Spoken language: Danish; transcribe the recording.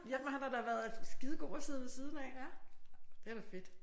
Jamen han har da været skidegod at sidde ved siden af. Det er da fedt